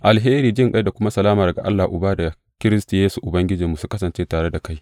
Alheri, jinƙai da kuma salama daga Allah Uba da Kiristi Yesu Ubangijinmu, su kasance tare da kai.